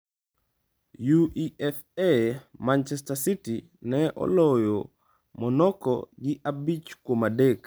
UEFA: Manchester City ne oloyo Monaco gi abich kuom adek.